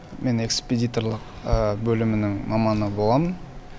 мен экспедиторлық бөлімінің маманы боламын